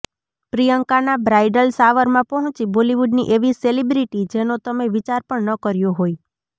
પ્રિયંકાના બ્રાઇડલ શાવરમાં પહોંચી બોલિવૂડની એવી સેલિબ્રિટી જેનો તમે વિચાર પણ ન કર્યો હોય